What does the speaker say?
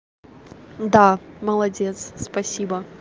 да молодец спасибо